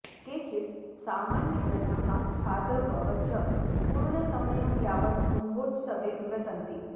केचित् सामान्यजनाः साधवः च पूर्णसमयं यावत् कुम्भोत्सवे निवसन्ति